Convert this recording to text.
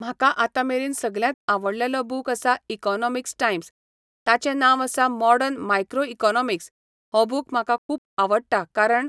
म्हाका आतां मेरेन सगल्यांत आवडलेलो बूक आसा इकोनोमिकीस टायम्स ताचें नांव आसा मोडर्न मायक्रोइकोनोमिक्स हो बूक म्हाका खूब आवडटा कारण